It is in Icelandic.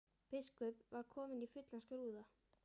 Biskup var kominn í fullan skrúða.